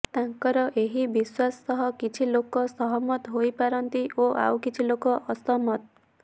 ତାଙ୍କର ଏହି ବିଶ୍ୱାସ ସହ କିଛି ଲୋକ ସହମତ ହୋଇପାରନ୍ତିଓ ଆଉ କିଛି ଲୋକ ଅସହମତ